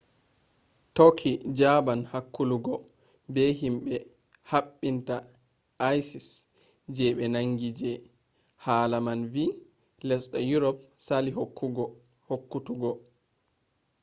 turkey jaban hakkuluggo be himbe habinta isis je be nangi je haala man vi lesde europe sali hokkutuggo